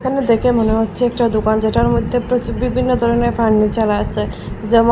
আর দেখে মনে হচ্ছে একটা দোকান যেটার মধ্যে প্রচু বিভিন্ন ধরনের ফার্নিচার আছে যেমন--